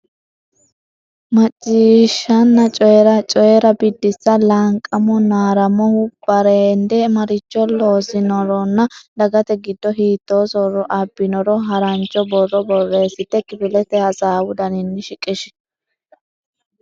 Macciishshanna Coyi’ra: Coyi’ra Biddissa Laanqamo Naaramohu bareende, maricho loosinoronna dagate giddo hiittoo soorro abbinoro harancho borro borreessite kifilete hasaawu daninni shiqishi.